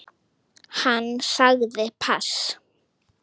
Hann sagði pass.